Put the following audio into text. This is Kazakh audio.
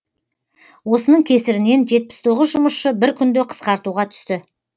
осының кесірінен жетпіс тоғыз жұмысшы бір күнде қысқартуға түсті